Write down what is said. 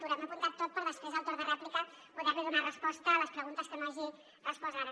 m’ho he apuntat tot per després al torn de rèplica poder li donar resposta a les preguntes que no hagi respost ara